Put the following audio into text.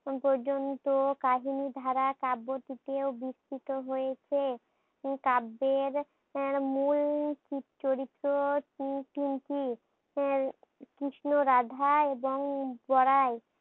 পর্যন্ত কাহিনী ধারা কাব্যটিতে বিস্ত্রিত হয়েছে। কাব্যের এর মূল চরিত্র তিন তিনটি এর কৃষ্ণ রাধা এবং বড়াই